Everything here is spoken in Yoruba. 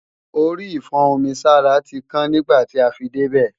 Orí ìfún-omi-sára tí kàn nígbàtí a fi débè